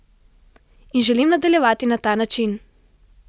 In želim nadaljevati na ta način!